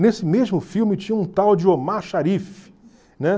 Nesse mesmo filme tinha um tal de Omar Sharif, né?